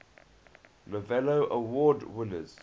novello award winners